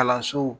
Kalanso